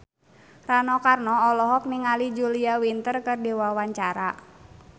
Rano Karno olohok ningali Julia Winter keur diwawancara